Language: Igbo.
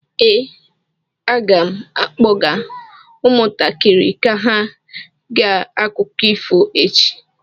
Ee, aga m akpọga ụmụntakịrị ka ha gee akụkọ ifo echi.